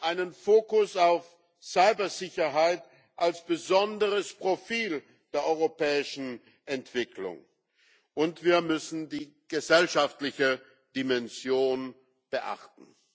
Wir brauchen einen Fokus auf Cybersicherheit als besonderes Profil der europäischen Entwicklung, und wir müssen die gesellschaftliche Dimension beachten.